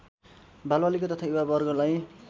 बालबालिका तथा युवा वर्गलाई